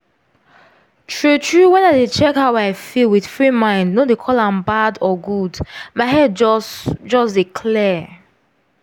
true true when i dey check how i feel with free mind no dey call am bad or good my head just just dey clear.